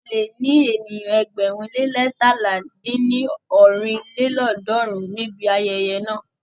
A lè ní ènìyàn ẹgbẹ̀rún le leétalá dín ní ọ́rin lélọ́ọ̀dúnrún níbi ayẹyẹ náà.